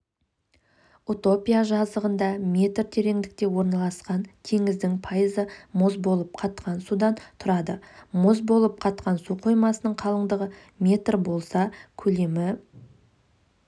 утопия жазығында метр тереңдікте орналасқан теңіздің пайызы мұз болып қатқан судан тұрады мұз болып қатқан су қоймасының қалыңдығы метр болса көлемі